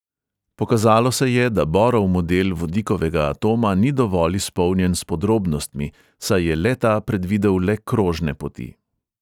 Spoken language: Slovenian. Pokazalo se je, da borov model vodikovega atoma ni dovolj izpolnjen s podrobnostmi, saj je le-ta predvidel le krožne poti.